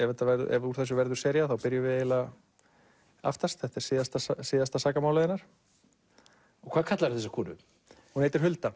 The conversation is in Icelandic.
ef úr þessu verður sería þá byrjum við aftast þetta er síðasta síðasta sakamálið hennar hvað kallarðu þessa konu hún heitir Hulda